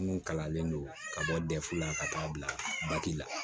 Minnu kalannen don ka bɔ dɛfu la ka taa bila la